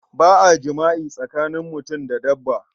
Ba a jama'i tsakanin mutum da dabba.